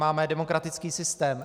Máme demokratický systém.